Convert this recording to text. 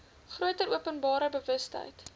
groter openbare bewustheid